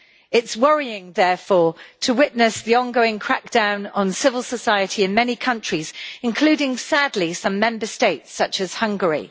It is worrying, therefore, to witness the on going crackdown on civil society in many countries including, sadly, some Member States such as Hungary.